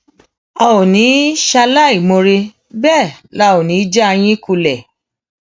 a ò ní í ṣaláìmoore bẹẹ la ò ní í já yín kulẹ